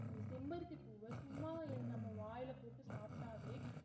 அந்த செம்பருத்திப்பூவ சும்மா என்~ வாயில போட்டு சாப்பிட்டாவே